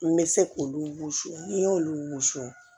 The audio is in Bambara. N bɛ se k'olu susu n y'olu sɔn